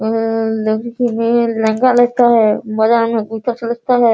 लड़की लोग लहंगा लेता है बाजार में बहुते सस्ता है।